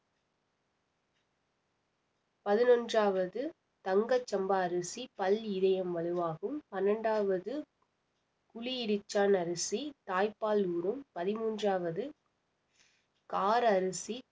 பதினொன்றாவது தங்க சம்பா அரிசி பல் இதயம் வலுவாகும் பன்னெண்டாவது புலி இரிச்சான அரிசி தாய்ப்பால் ஊரும் பதிமூண்றாவது கார அரிசி